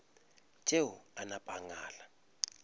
tšeo a napa a ngala